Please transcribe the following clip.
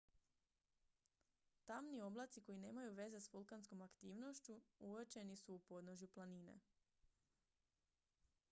tamni oblaci koji nemaju veze s vulkanskom aktivnošću uočeni su u podnožju planine